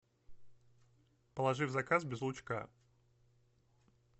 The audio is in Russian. положи в заказ без лучка